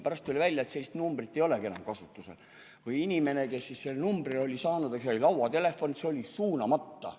Pärast tuli välja, et sellist numbrit ei olegi enam kasutusel või inimene sai selle numbri, aga see lauatelefon oli jäänud suunamata.